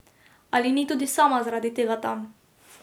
Ali ni tudi sama zaradi tega tam?